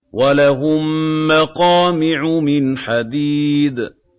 وَلَهُم مَّقَامِعُ مِنْ حَدِيدٍ